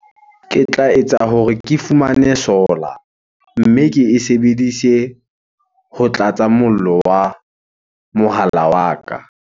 Ke tla etsa hore ke fumane solar, mme ke e sebedise ho tlatsa mollo wa mohala wa ka.